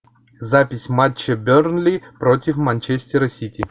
запись матча бернли против манчестера сити